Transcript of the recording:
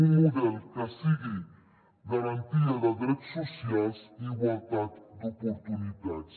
un model que sigui garantia de drets socials i igualtat d’oportunitats